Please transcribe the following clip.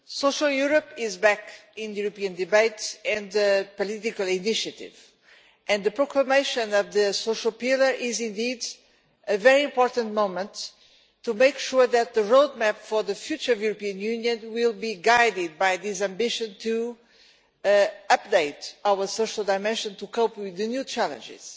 Mr President, Social Europe is back in European debates and political initiative, and the proclamation of the Social Pillar is indeed a very important moment to make sure that the roadmap for the future of the European Union will be guided by this ambition to update our social dimension to cope with the new challenges.